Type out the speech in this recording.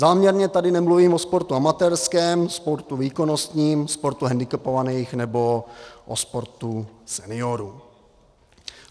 Záměrně tady nemluvím o sportu amatérském, sportu výkonnostním, sportu hendikepovaných nebo o sportu seniorů.